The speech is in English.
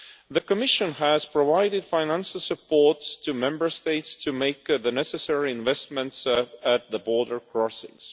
The Commission has provided financial support to Member States to make the necessary investments at the border crossings.